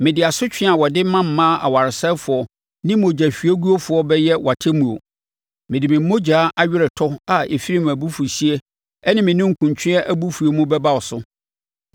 Mede asotwe a wɔde ma mmaa awaresɛefoɔ ne mogya hwiegufoɔ bɛyɛ wʼatemmuo. Mede me mogya aweretɔ a ɛfiri mʼabufuhyeɛ ne me ninkunutweɛ abufuo mu bɛba wo so.